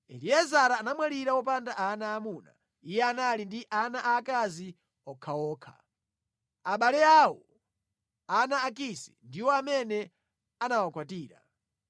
Eliezara anamwalira wopanda ana aamuna. Iye anali ndi ana aakazi okhaokha. Abale awo, ana a Kisi, ndiwo amene anawakwatira.